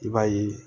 I b'a ye